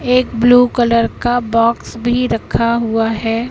एक blue colour का box भी रखा हुआ हैं।